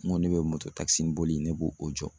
N ko ne bɛ mototakisiboli in ne b'o o jɔ.